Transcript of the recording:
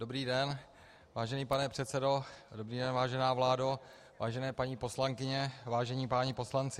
Dobrý den, vážený pane předsedo, dobrý den, vážená vládo, vážené paní poslankyně, vážení páni poslanci.